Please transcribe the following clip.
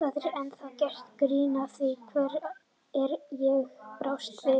Það er ennþá gert grín að því hvernig ég brást við.